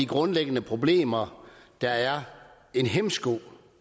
grundlæggende problemer der er en hæmsko